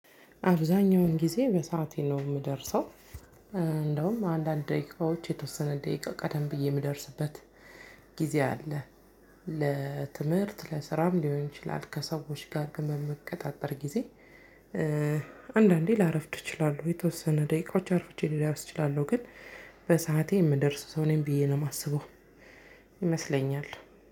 አብዛኛውን ጊዜ በሰአቴ ነው የምደርሰው እንደውም አንዳንድ ደቂቃዎች የተወሰነ ደቂቃ ቀደም ብዬ የምደርስበት ጊዜ አለ። ለትምህርት ለስራም ሊሆን ይችላል ከሰዎች ጋር ግን በምቀጣጠር ጊዜ። አንዳንዴ ላረፍድ እችላለሁ የተወሰነ ደቂቃዎች አርፍጄ ልደርስ እችላለው ግን በሰአቴ የምደርስ ሰው ነኝ ብዬ ነው የማስበው። ይመስለኛል